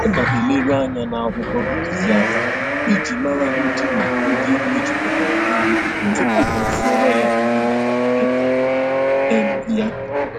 Ọ na-eleru anya n'akwụkwọ ntụziaka iji mara ndịna ndị mejupụtara nri tupu ọ zụọrọ ya nri maka nkịta um ya